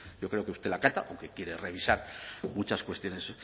yo creo que usted la acata o que quiere revisar muchas cuestiones